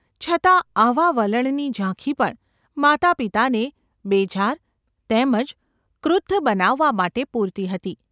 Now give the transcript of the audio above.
છતાં આવા વલણની ઝાંખી પણ માતાપિતાને બેજાર તેમ જ ક્રુદ્ધ બનાવવા માટે પૂરતી હતી.